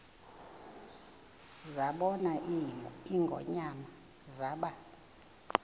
zabona ingonyama zaba